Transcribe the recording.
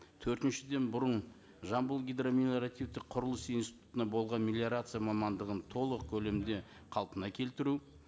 төртіншіден бұрын жамбыл гидромелиоративтік құрылыс институтында болған мелиорация мамандығын толық көлімде қалпына келтіру